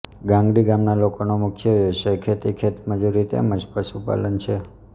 ગાંગડી ગામના લોકોનો મુખ્ય વ્યવસાય ખેતી ખેતમજૂરી તેમ જ પશુપાલન છે